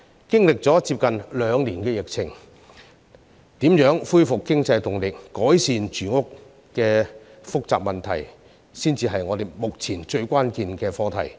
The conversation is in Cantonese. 經歷了接近兩年的疫情，怎樣恢復經濟動力、改善住屋等複雜的民生問題，才是我們目前最關鍵的課題。